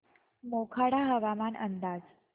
मोखाडा हवामान अंदाज